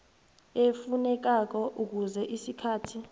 efunekako kufuze isikhathi